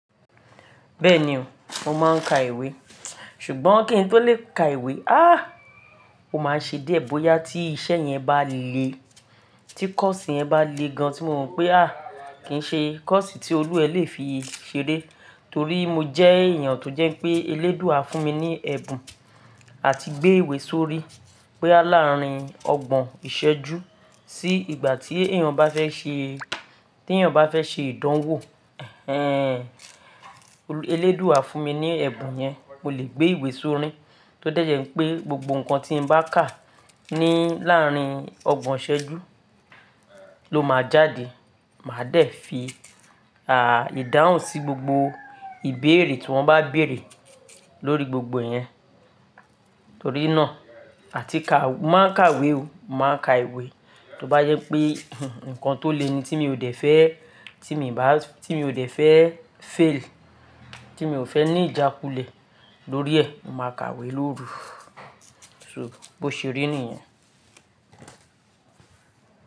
Bẹẹni o, mo máa ń ka ìwé. Ṣùgbọ́n kí n tó lè ka ìwé, aah! O máa n ṣe díẹ̀ bóyá tí iṣẹ́ yẹn bá le, tí kọ́ọ̀sì yẹn bá le gan tí mo mọ̀ pé aah! Kì í ṣe kọ́ọ̀sì tí olúwa ẹ le fi ṣeré. Torí mo jẹ́ èèyàn tó jẹ́ pé eléèdúà fún mi ní ẹ̀bùn àti gbé ìwé sórí bóyá láàrin ọgbọ̀n ìṣẹ́jú sí ìgbà tí èèyàn bá fẹ́ ṣe, tí èèyàn bá fẹ́ ṣe ìdánwò. Ehn, elédúà fún mi ní ẹ̀bùn yẹn, mo lè gbé ìwé sóri tó dẹ́jẹ́ pé gbogbo nǹkan tí mo bá kà ní alárin ọgbọ̀n ìṣẹ́jú ló máa jáde. Màá dẹ̀ fi, aah! Ìdáhùn sí gbogbo ìbéèrè tí wọ́n bá béèrè lórí gbogbo ẹ̀ yẹn. Torí náà, àti ká, mo máa ń ka ìwé o, mo màá ka ìwé tó bá jẹ́ pé nǹkan tó le ni tí mi ò dẹ̀ fẹ́, tí mi ò dẹ̀ fẹ́ fail, tí mi ò fẹ́ ní ìjákulẹ̀ lórí ẹ̀, mo màá ka ìwé lóru. So bó ṣe rí nìyẹn.